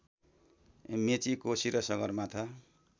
मेची कोशी र सगरमाथा